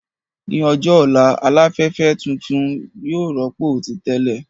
Ní ọjọ́ ọ̀la, Aláfẹ́fẹ́ ìdúró tuntun yóò rọ́pò ti tẹ́lẹ̀